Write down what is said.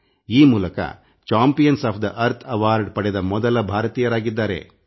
ಈ ಮೂಲಕ campaign of the Earth ಪ್ರಶಸ್ತಿ ಪಡೆದ ಮೊದಲ ಭಾರತೀಯರಾಗಿದ್ದಾರೆ